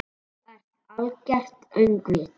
Þú ert algert öngvit!